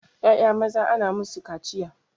Ƴaƴa maza ana musu kaciya